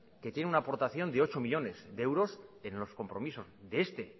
que tiene una aportación de ocho millónes de euros en los compromisos de este